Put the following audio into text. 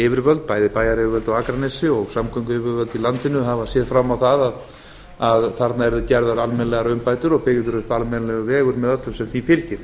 yfirvöld bæði bæjaryfirvöld á akranesi og samgönguyfirvöld í landinu hafa séð fram á það að þarna yrðu gerðar almennilega umbætur og byggður upp almennilegur vegur með öllu sem því fylgir